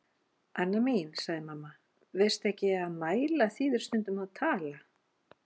Anna mín, sagði mamma, veistu ekki að mæla þýðir stundum að tala?